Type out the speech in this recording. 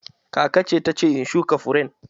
Kakace ta ce in shuka furen